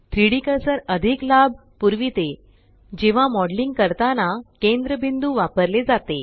3डी कर्सर अधिक लाभ पुरविते जेव्हा मॉडेलिंग करताना केन्द्रबिंदू वापरले जाते